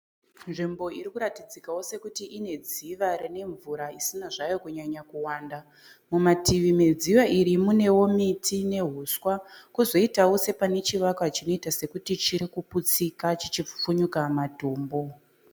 Nzvimbo irikuratidzikawo sekuti ine dziva rine mvura isina zvayo kunyanya kuwanda. Mumativi medziva iri munewo miti nehuswa. Kozoitawo sepane chivakwa chiri kuputsika chichipfupfunyuka matombo.